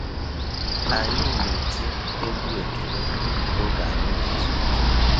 Anyị na-eti egwú ekele oge anyị nezu ike.